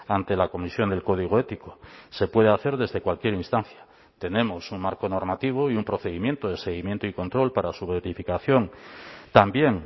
ante la comisión del código ético se puede hacer desde cualquier instancia tenemos un marco normativo y un procedimiento de seguimiento y control para su verificación también